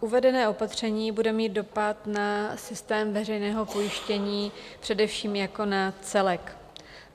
uvedené opatření bude mít dopad na systém veřejného pojištění především jako na celek.